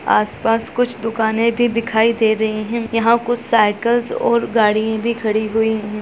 आस-पास कुछ दुकाने भी दिखाई दे रही हैं यहां कुछ साइकिल्स और गाडियां भी खड़ी हुई है।